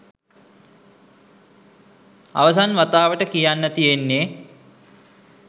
අවසන් වතාවට කියන්න තියෙන්නෙ